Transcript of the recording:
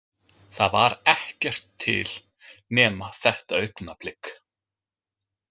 Það var ekkert til nema þetta augnablik.